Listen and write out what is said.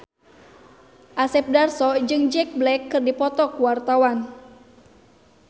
Asep Darso jeung Jack Black keur dipoto ku wartawan